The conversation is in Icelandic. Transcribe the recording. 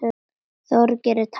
Þorgeir er ekki talinn með.